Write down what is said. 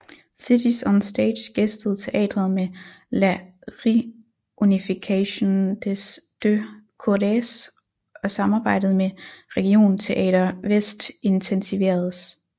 Cities on Stage gæstede teatret med La Réunification des deux Corées og samarbejdet med Regionteater Väst intensiveredes